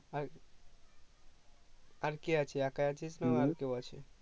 আর আর কে আছে একাই আছি না আর কেও আছে